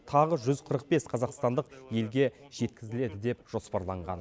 тағы жүз қырық бес қазақстандық елге жеткізіледі деп жоспарланған